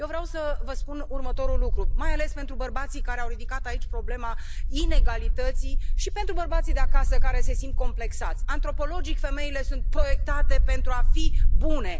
Eu vreau să vă spun următorul lucru, mai ales pentru bărbații care au ridicat aici problema inegalității și pentru bărbații de acasă, care se simt complexați antropologic, femeile sunt proiectate pentru a fi bune!